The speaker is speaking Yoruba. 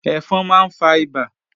Ẹ̀fọn máa ń fa ìbà